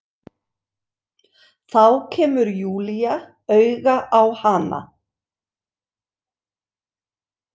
Þá kemur Júlía auga á hana.